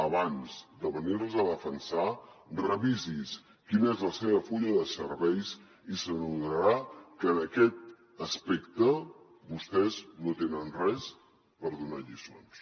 abans de venirles a defensar revisi quin és el seu full de serveis i s’adonarà que en aquest aspecte vostès no tenen res per donar lliçons